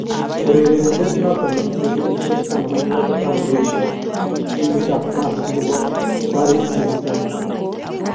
Urerenidet noton netinye kenyishek16 kotam koyesho timit tab France nebo Paris st Germain.